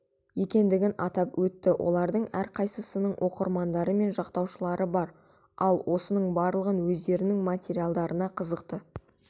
екендігін атап өтті олардың әрқайсысының оқырмандары мен жақтаушылары бар ал осының барлығы өздерінің материалдарына қызықты